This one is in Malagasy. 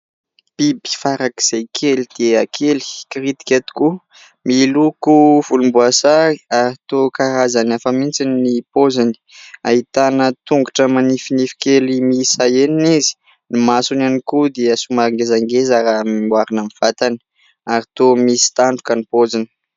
Biby farak'izay kely dia kely, kiritika tokoa, miloko volomboasary ary toa karazany hafa mihitsy ny paoziny. Ahitana tongotra manifinify kely miisa enina izy, ny masony ihany koa dia somary ngezangeza raha noharina amin'ny vatany ary toa misy tandroka ny paoziny.